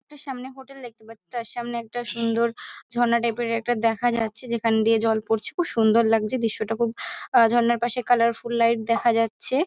Two সামনে একটা hotel দেখতে পাচ্ছি তার সামনে একটা সুন্দর ঝর্না টাইপ - এর একটা দেখা যাচ্ছে। যেখান দিয়ে জল পরছে খুবই সুন্দর লাগছে দৃশ্যটা খুব আ ঝর্নার পাশে কালারফুল লাইট দেখা যাচ্ছে।